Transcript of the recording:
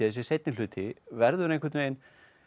þessi seinni hluti verður einhvern veginn